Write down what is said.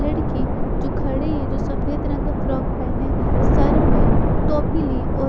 लड़की जो खड़ी है जो सफेद रंग का फ्रॉक पहने सर में टोपी ली और--